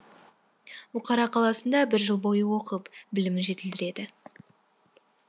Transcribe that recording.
бұқара қаласында бір жыл бойы оқып білімін жетілдіреді